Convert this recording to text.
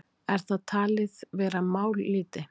Er það talið vera mállýti?